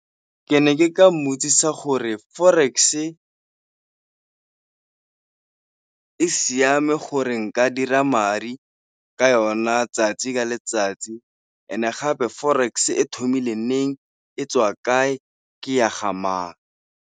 Ke ne ke ka mmotsisa gore forex-e e siame gore nka dira madi ka yona tsatsi ka letsatsi ene gape forex-e thomile neng, e tswa kae, ke ya ga mang.